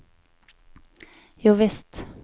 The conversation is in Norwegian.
jovisst